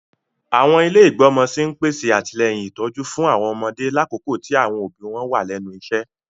Àwọn ilé igbọmọ sí n pèsè atilẹyin ìtójú fún àwọn ọmọdé lakoko ti àwọn òbí wọn wa lẹ́nu iṣẹ.